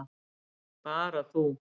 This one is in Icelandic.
Bara þú.